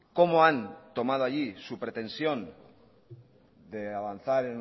cómo han tomado allí su pretensión de avanzar